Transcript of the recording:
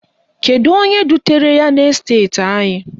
Kedu onye dutere ya n'esteti anyị?